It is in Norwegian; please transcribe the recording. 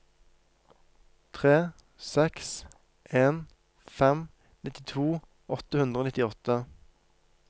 tre seks en fem nittito åtte hundre og nittiåtte